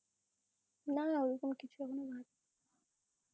না ওরকম কিছু এখনো ভাবিনি .